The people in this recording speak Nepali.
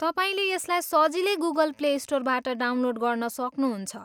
तपाईँले यसलाई सजिलै गुगल प्ले स्टोरबाट डाउनलोड गर्न सक्नुहुन्छ।